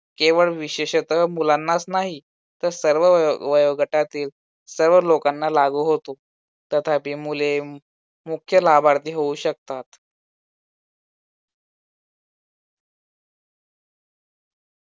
केवळ विशेषतः मुलांनाच नाही, तर सर्व वयो वयोगटातील सर्व लोकांना लागू होतो. तथापि मुले मुख्य लाभार्थी होऊ शकतात.